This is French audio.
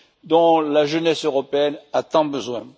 dont la jeunesse européenne a tant besoin.